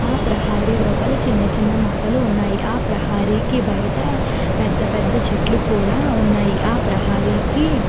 ఆ ప్రహరి లోపల చిన్న చిన్న మోకాళ్ళు కూడా వున్నాయ్. ఆ ప్రహరికి బయట పేద పెద్ద చేతుల్లు వున్నాయ్. అ ప్రహరికి--